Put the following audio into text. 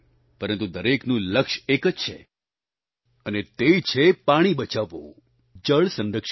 પરંતુ દરેકનું લક્ષ્ય એક જ છે અને તે છે પાણી બચાવવું જળ સંરક્ષણ